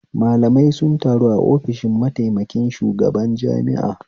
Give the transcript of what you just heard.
Malamai sun taru a ofishin mataikamin shugaban jami'a